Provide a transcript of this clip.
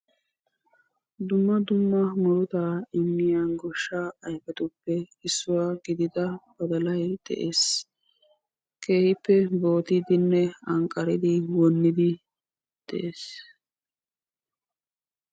dumma dumma muruta immiya goshsha aypetuppe issuwaa gidida badalay de'ees, keehippe goobidinne anqqaridi wonnidii de'ees.